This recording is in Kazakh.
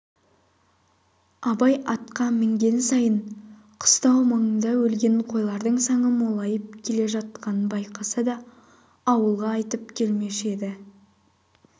абай атқа мінген сайын қыстау маңында өлген қойлардың саны молайып келе жатқанын байқаса да ауылға айтып келмеуші еді